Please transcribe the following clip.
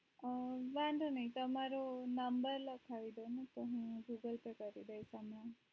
અ વાધો નહિ તમારો number લખાવીદો હું તમને googlepay કરી દઈશ